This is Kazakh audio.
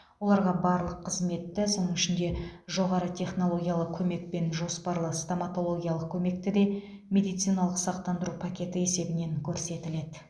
оларға барлық қызметті соның ішінде жоғары технологиялы көмек пен жоспарлы стоматологиялық көмекті де медициналық сақтандыру пакеті есебінен көрсетіледі